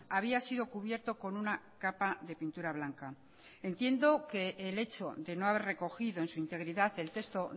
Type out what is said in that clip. había sido cubierto con una capa de pintura blanca entiendo que el hecho de no haber recogido en su integridad el texto